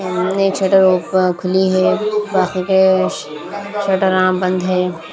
एक शटर खुली है बाकी के शटर बंद है।